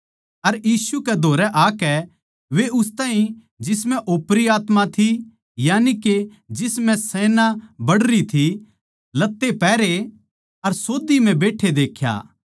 अर यीशु कै धोरै आकै वे उस ताहीं जिसम्ह ओपरी आत्मा थी यानिके जिस म्ह सेना बड़री थी लत्ते पहरे अर सोध्दी म्ह बैठे देख्या